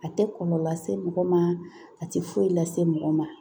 A tɛ kɔlɔlɔ lase mɔgɔ ma a tɛ foyi lase mɔgɔ ma